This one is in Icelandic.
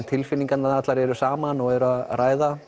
tilfinningarnar allar eru saman og eru að ræða